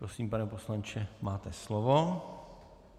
Prosím, pane poslanče, máte slovo.